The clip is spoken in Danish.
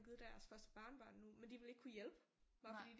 Givet deres første barnebarn nu men de ville ikke kunne hjælpe bare fordi